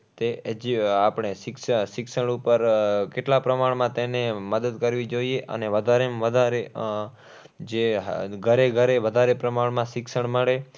કે જે આપણે શિક્ષણ શિક્ષણ ઉપર આહ કેટલાં પ્રમાણમાં તેને મદદ કરવી જોઈએ અને વધારે માં વધારે આહ જે ઘરે ઘરે વધારે પ્રમાણમાં શિક્ષણ મળે.